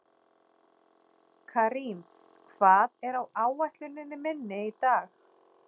Karim, hvað er á áætluninni minni í dag?